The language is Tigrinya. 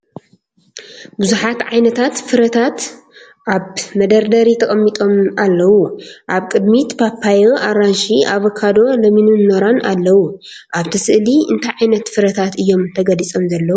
ብዙሓት ዓይነታት ፍረታት ኣብ መደርደሪ ተቐሚጦም ኣለዉ። ኣብ ቅድሚት ፓፓዮ፡ ኣራንሺ፡ ኣቮካዶ፡ ለሚንን ኖራን ኣለዉ። ኣብቲ ስእሊ እንታይ ዓይነት ፍረታት እዮም ተገሊጾም ዘለዉ?